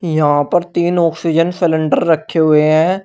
यहां पर तीन ऑक्सीजन सिलेंडर रखे हुए हैं।